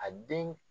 A den